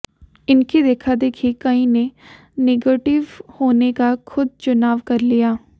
इनकी देखादेखी कई ने निगेटिव होने का खुद चुनाव कर लिया